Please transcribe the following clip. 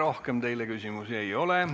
Rohkem teile küsimusi ei ole.